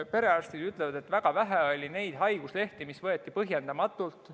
Perearstid ütlevad, et väga vähe oli neid haiguslehti, mis võeti põhjendamatult.